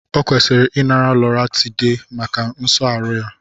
Ọ kwesịrị inara Loratiday maka nso aru ya